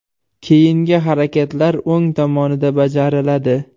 Keyingi harakatlar o‘ng tomonida bajariladi.